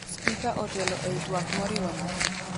Spika otelo ei twak moriwo nyathi